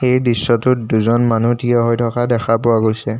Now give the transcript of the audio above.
এই দৃশ্যটোত দুজন মানুহ থিয় হৈ থকা দেখা পোৱা গৈছে।